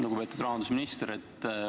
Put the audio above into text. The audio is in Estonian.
Lugupeetud rahandusminister!